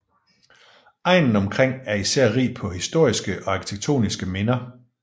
Egnen omkring er især rig på historiske og arkitektoniske minder